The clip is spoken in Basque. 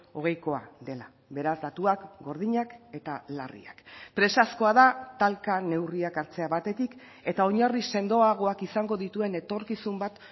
hogeikoa dela beraz datuak gordinak eta larriak presazkoa da talka neurriak hartzea batetik eta oinarri sendoagoak izango dituen etorkizun bat